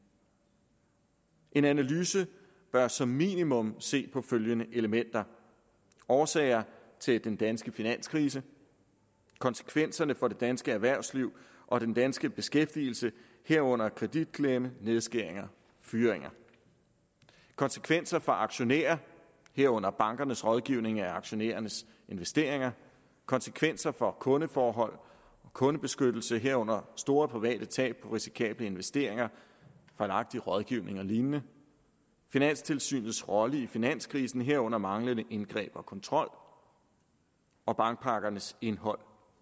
en analyse bør som minimum se på følgende elementer årsager til den danske finanskrise konsekvenserne for det danske erhvervsliv og den danske beskæftigelse herunder kreditklemme nedskæringer og fyringer konsekvenser for aktionærer herunder bankernes rådgivning med aktionærernes investeringer konsekvenser for kundeforhold og kundebeskyttelse herunder store private tab på risikable investeringer fejlagtig rådgivning og lignende finanstilsynets rolle i finanskrisen herunder manglende indgreb og kontrol og bankpakkernes indhold